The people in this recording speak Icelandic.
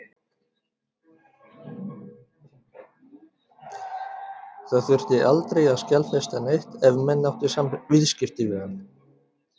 Það þurfti aldrei að skjalfesta neitt ef menn áttu viðskipti við hann.